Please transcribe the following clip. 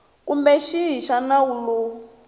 kumbe xihi xa nawu lowu